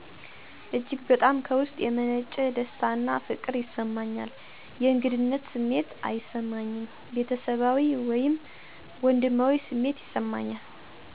እጅግ በጣም ከውስጥ የመነጨ ደስታና ፍቅር ይሰማኛል። የእንግድነት ስሜት አይሰማኝም፤ ቤተሰባዊ ወይም ወንድማዊ ስሜት ይሰማኛል።